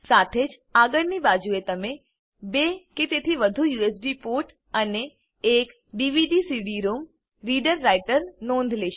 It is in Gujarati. સાથે જ આગળની બાજુએ તમે 2 કે તેથી વધુ યુએસબી પોર્ટ અને એક ડીવીડીસીડી રોમ રીડર રાઈટરની નોંધ લેશો